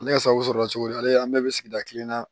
Ne ka sago sɔrɔla cogo di ale bɛ sigida kelen na